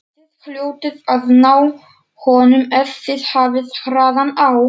Þið hljótið að ná honum ef þið hafið hraðan á.